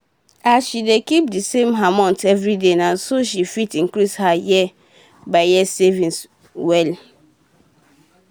as she dey keep d same amount every day na so she fit increase her year by year savings well